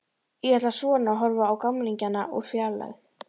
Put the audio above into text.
Ég ætla svona að horfa á gamlingjana úr fjarlægð.